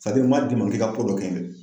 sadiri n ma d'i ma k'i ka ko dɔ kɛ n ye dɛ